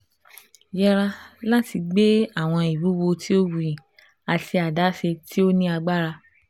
Yẹra lati gbe awọn iwuwo ti o wuyi ati adaṣe ti o ni agbara